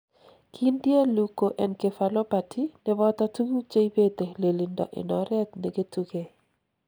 Kindie Leukoencephalopathy neboto tukuk cheibete lelindo en oret neketukei.